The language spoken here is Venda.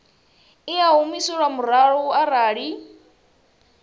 i a humiselwa murahu arali